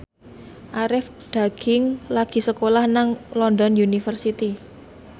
Arie Daginks lagi sekolah nang London University